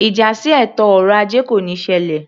Ìjà sí ètò ọrọ ajé kò níí ṣẹlẹ̀